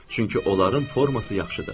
Çünki onların forması yaxşıdır.